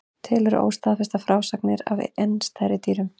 Til eru óstaðfestar frásagnir af enn stærri dýrum.